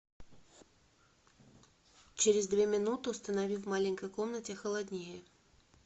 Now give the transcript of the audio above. через две минуты установи в маленькой комнате холоднее